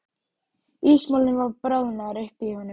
Ísmolinn var bráðnaður upp í honum.